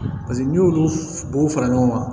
Paseke n'i y'olu bo fara ɲɔgɔn kan